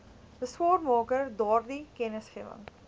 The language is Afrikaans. beswaarmaker daardie kennisgewing